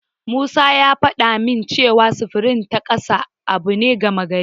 Musa ya faɗa min cewa sufuri ta kasa abu ne gama gari.